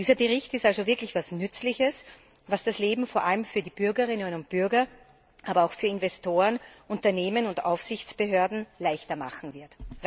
Dieser Bericht ist also wirklich etwas Nützliches, was das Leben vor allem für die Bürgerinnen und Bürger, aber auch für Investoren, Unternehmen und Aufsichtsbehörden leichter machen wird.